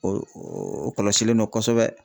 O o o kɔlɔsilen do kosɛbɛ.